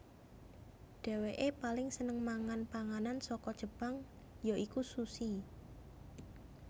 Dhéwékeè paling seneng mangan panganan saka Jepang ya iku sushi